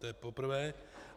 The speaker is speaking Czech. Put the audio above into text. To je poprvé.